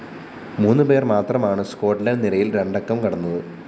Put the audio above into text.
മൂന്നുപേര്‍ മാത്രമാണ്‌ സ്കോട്ട്ലന്റ്‌ നിരയില്‍ രണ്ടക്കം കടന്നത്‌